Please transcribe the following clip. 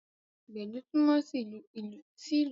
Gbedu túmọ sí ìlù tó tóbi